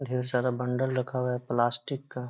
और ढेर सारा बंडल रखा हुआ प्लास्टिक का।